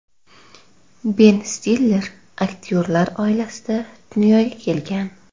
Ben Stiller aktyorlar oilasida dunyoga kelgan.